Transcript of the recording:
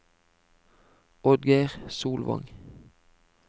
Oddgeir Solvang